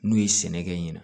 N'u ye sɛnɛ kɛ ɲina